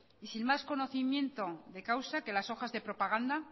y sin más conocimiento de causa que las hojas de propaganda